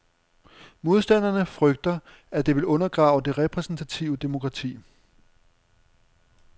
Modstanderne frygter, at det vil undergrave det repræsentative demokrati.